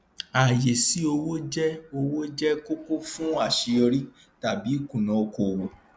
ààyè sí owó jẹ owó jẹ kókó fún àṣeyọrí tàbí ìkùnà okòòwò